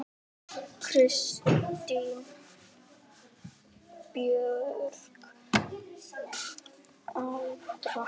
Kristín Björg Aldur?